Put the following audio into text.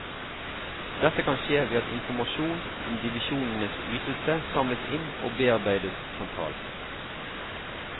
Dette kan skje ved at informasjon om divisjonenes ytelse samles inn og bearbeides sentralt.